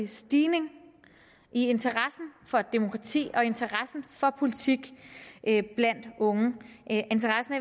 stigning i interessen for demokrati og interessen for politik blandt unge interessen